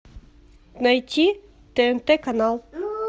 найти тнт канал